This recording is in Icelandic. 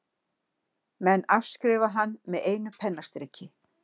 Menn afskrifa hann með einu pennastriki.